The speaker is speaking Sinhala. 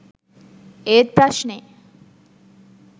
ඒත් ප්‍රශ්නෙ